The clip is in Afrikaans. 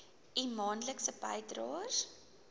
u maandelikse bydraes